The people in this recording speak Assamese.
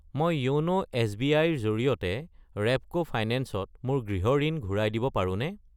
মই য়োন' এছ.বি.আই. ৰ জৰিয়তে ৰেপ্ক' ফাইনেন্স ত মোৰ গৃহ ঋণ ঘূৰাই দিব পাৰোনে?